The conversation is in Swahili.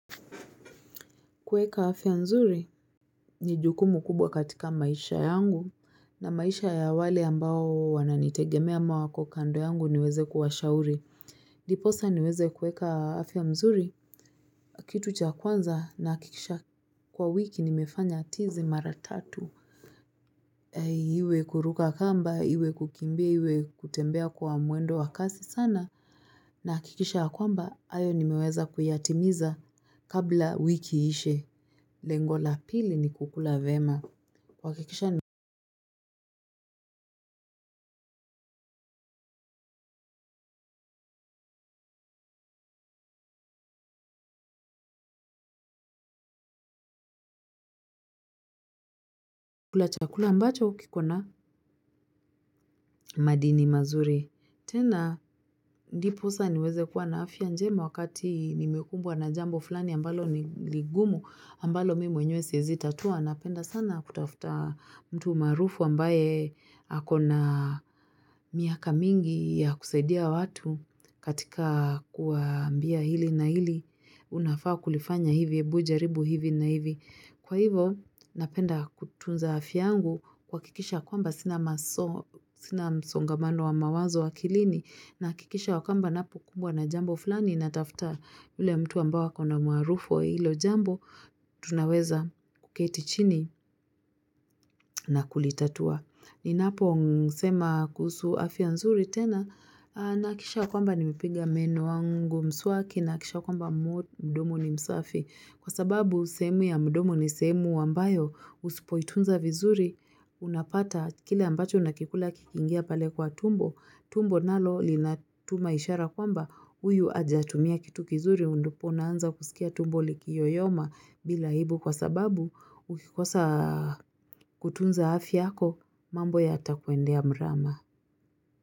Kuweka afya mzuri, ni jukumu kubwa katika maisha yangu, na maisha ya wale ambao wananitegemea ama wako kando yangu niweze kuwashauri. Ndiposa niweze kuweka afya mzuri, kitu cha kwanza nahakikisha kwa wiki nimefanya tizi mara tatu. Iwe kuruka kamba, iwe kukimbia, iwe kutembea kwa mwendo wa kasi sana. Nahakikisha ya kwamba, hayo nimeweza kuyatimiza kabla wiki iishe. Lengo la pili ni kukula vyema chakula ambacho kiko na madini mazuri. Tenda, ndiposa niweze kuwa na afya njema wakati nimekumbwa na jambo fulani ambalo ni ligumu ambalo mimi mwenyewe siezi tatua, napenda sana kutafuta mtu maarufu ambaye ako na miaka mingi ya kusaidia watu katika kuwaambia hili na hili, unafaa kulifanya hivi, hebu jaribu hivi na hivi. Kwa hivo, napenda kutunza afya yangu kuhakikisha kwamba sina msongamano wa mawazo akilini nahakikisha ya kwamba napokumbwa na jambo fulani natafta ule mtu ambao akona umaarufu wa hilo jambo, tunaweza kuketi chini na kulitatua. Ninaposema kuhusu afia nzuri tena nahakikisha kwamba nimepiga meno wangu mswaki na kisha kwamba mdomo ni msafi. Kwa sababu sehemu ya mdomo ni sehemu ambayo usipoitunza vizuri unapata kile ambacho nakikula kikiingia pale kwa tumbo. Tumbo nalo linatuma ishara kwamba huyu ajatumia kitu kizuri undupo unaanza kusikia tumbo likiyoyoma bila aibu. Kwa sababu ukikosa kutunza afyako, mambo yatakuendea mrama.